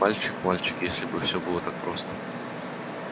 мальчик мальчик если бы все было так просто